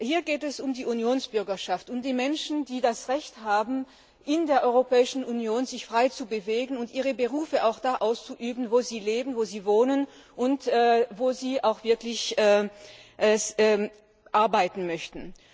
Es geht hier um die Unionsbürgerschaft, um die Menschen, die das Recht haben, sich in der Europäischen Union frei zu bewegen und ihre Berufe auch da auszuüben, wo sie leben und wohnen und wo sie auch wirklich arbeiten möchten.